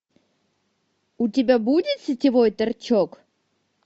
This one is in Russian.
у тебя будет сетевой торчок